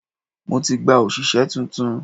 Mo ti gba òṣìṣẹ́ tuntun.